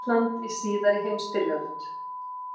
Ísland í síðari heimsstyrjöld.